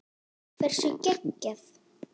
Hversu geggjað?